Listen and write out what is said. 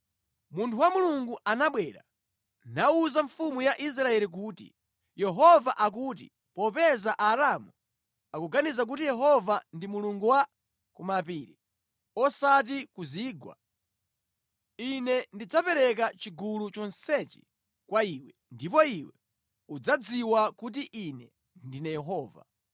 Munthu wa Mulungu anabwera, nawuza mfumu ya Israeli kuti, “Yehova akuti, ‘Popeza Aaramu akuganiza kuti Yehova ndi mulungu wa ku mapiri, osati wa ku zigwa, Ine ndidzapereka chigulu chonsechi kwa iwe, ndipo iwe udzadziwa kuti Ine ndine Yehova.’ ”